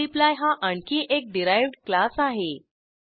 multiply हा आणखी एक डिराइव्ह्ड क्लास आहे